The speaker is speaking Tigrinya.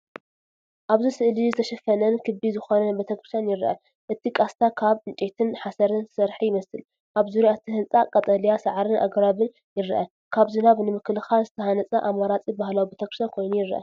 ኣብዚ ስእሊ ዝተሸፈነን ክቢ ዝኾነን ቤተ ክርስቲያን ይርአ። እቲ ቃስታ ካብ ዕንጨይትን ሓሰርን ዝተሰርሐ ይመስል። ኣብ ዙርያ እቲ ህንጻ ቀጠልያ ሳዕርን ኣግራብን ይርአ። ካብ ዝናብ ንምክልኻል ዝተሃንጸ ኣማራጺ ባህላዊ ቤተክርስትያን ኮይኑ ይረአ።